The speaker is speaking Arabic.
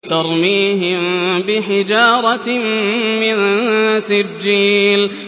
تَرْمِيهِم بِحِجَارَةٍ مِّن سِجِّيلٍ